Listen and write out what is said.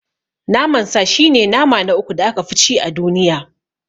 Naman sa shi ne nama na uku da aka fi ci a duniya.